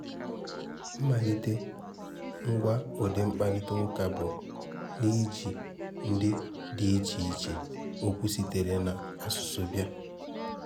Mmalite ngwa udi mkpàrịtà ụ́ká bụ́ n’iji ndị dị iche iche okwu sitere n’asụ̀sụ́ bịa.